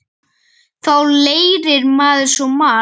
Þá lærir maður svo margt.